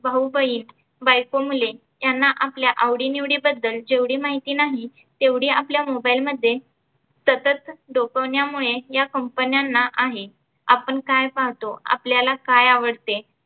भाऊ बहीण बायको मुले ह्यांना आपल्या आवडी निवडी बद्दल जेवढी माहिती नाही तेव्हडी आपल्या mobile मध्ये सतत सोपवण्या मुळे या company न्यांना आहे. आपण काय पहातो? आपल्याला काय आवडते?